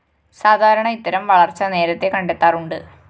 സാധാരണ ഇത്തരം വളര്‍ച്ച നേരത്തെ കണ്ടെത്താറുണ്ട്